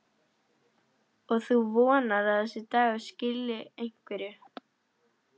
Og þú vonar að þessi dagur skili einhverju?